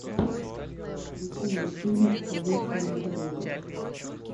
включи мне фильм проверка на дорогах